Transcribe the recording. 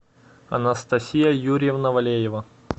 анастасия юрьевна валеева